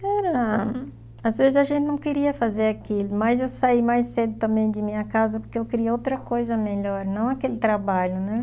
Cara, às vezes a gente não queria fazer aquilo, mas eu saí mais cedo também de minha casa porque eu queria outra coisa melhor, não aquele trabalho, né?